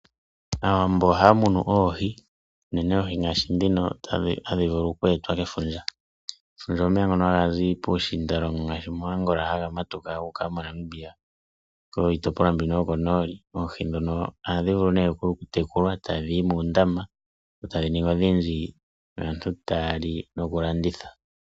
Aawambo ohaya munu oohi uunene ngaashi ndhino hadhi vulu oku etwa kefundja. Efundja omeya ngono ga hazi puushindalongo ngaashi mo Angola haga matuka guuka mo Namibia kiitopolwa mbino yokonooli. Oohi ndhino ohadhi vulu ne oku tekulwa ta dhiyi muundama etadhi ningi odhindji aantu taya li noku landitha.